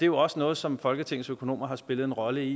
jo også noget som folketingets økonomer har spillet en rolle i